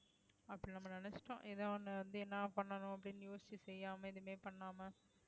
அப்படி நம்ம நினைச்சுட்டோம் ஏதோ ஒண்ணு வந்து என்ன பண்ணணும் அப்படின்னு யோசிச்சு செய்யாம எதுவுமே பண்ணாம